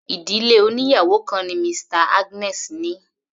Ìdílé oníyàwò kan ni Mr Agnes ní.